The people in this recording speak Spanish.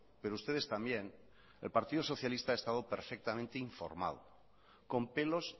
pero ustedes también el partido socialista ha estado perfectamente informado con pelos